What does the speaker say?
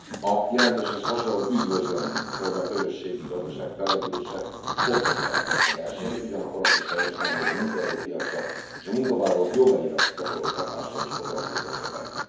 A jelentéshez hasonlóan üdvözlöm, hogy a közösségi gazdaság fellendülése fokozza a versenyt, ugyanakkor azt is helyeslem, hogy a munkaerőpiacra és a munkavállalók jogaira gyakorolt hatással is foglalkozik a szöveg.